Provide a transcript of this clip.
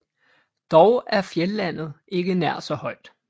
Dog er fjeldlandet ikke nær så højt